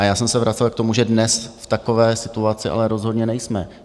A já jsem se vracel k tomu, že dnes v takové situaci ale rozhodně nejsme.